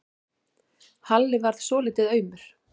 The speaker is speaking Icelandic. Halli varð svolítið aumur.